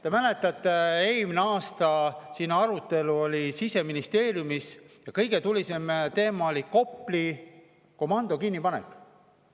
Te mäletate, et eelmine aasta oli arutelu Siseministeeriumis ja kõige tulisem teema oli Kopli komando kinnipanek.